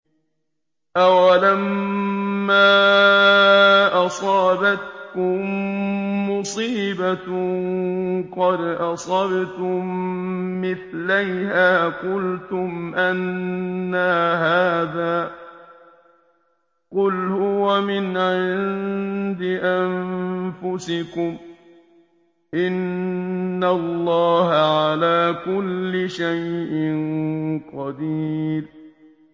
أَوَلَمَّا أَصَابَتْكُم مُّصِيبَةٌ قَدْ أَصَبْتُم مِّثْلَيْهَا قُلْتُمْ أَنَّىٰ هَٰذَا ۖ قُلْ هُوَ مِنْ عِندِ أَنفُسِكُمْ ۗ إِنَّ اللَّهَ عَلَىٰ كُلِّ شَيْءٍ قَدِيرٌ